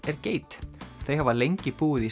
er geit þau hafa lengi búið í